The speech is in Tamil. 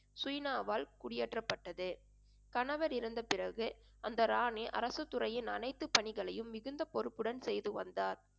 சுயினாவால் குடியேற்றப்பட்டது கணவர் இறந்த பிறகு அந்த ராணி அரசுத் துறையின் அனைத்து பணிகளையும் மிகுந்த பொறுப்புடன் செய்து வந்தார்